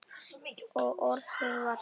Og orðið varð hold.